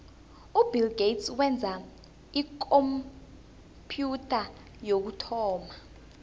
ubill gates wenza ikhompyutha yokuthoma